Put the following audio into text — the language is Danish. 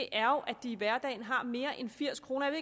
er jo at de i hverdagen har mere end firs kroner